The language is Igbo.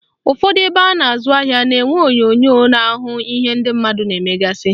Ụfọdụ ebe a na-azụ ahịa na-enwe onyonyo na-ahụ ihe ndị mmadụ na-emegasị